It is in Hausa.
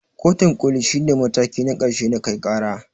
Kotun koli shi ne mataki na ƙarshe na kai ƙara.